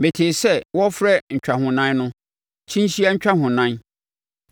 Metee sɛ wɔrefrɛ ntwahonan no, “kyinhyia ntwahonan.”